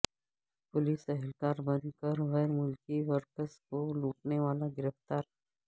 police اہلکار بن کر غیرملکی ورکرز کو لوٹنے والا گرفتار